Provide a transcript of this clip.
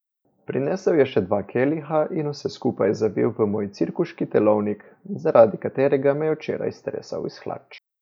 Prinesel je še dva keliha in vse skupaj zavil v moj cirkuški telovnik, zaradi katerega me je včeraj stresal iz hlač.